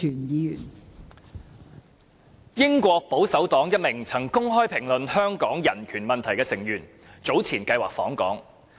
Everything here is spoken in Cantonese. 英國保守黨一名曾公開評論香港人權問題的成員早前計劃訪港。